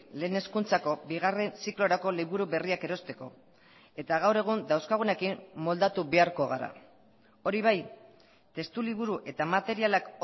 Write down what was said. lehen hezkuntzako bigarren ziklorako liburu berriak erosteko eta gaur egun dauzkagunekin moldatu beharko gara hori bai testuliburu eta materialak